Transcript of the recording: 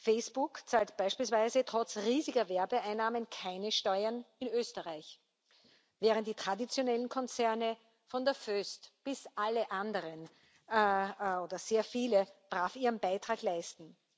Facebook zahlt beispielsweise trotz riesiger Werbeeinnahmen keine Steuern in Österreich. Während die traditionellen Konzerne von der Voest bis zu allen anderen, oder sehr viele, brav ihren Beitrag leisten.